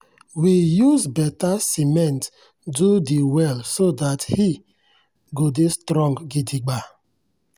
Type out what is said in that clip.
we use better siment do de well so that he go dey strong gidigba.